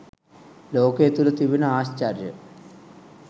ලෝකය තුළ තිබෙන ආශ්චර්ය